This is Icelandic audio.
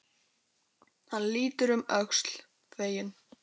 Hann lítur um öxl, feginn.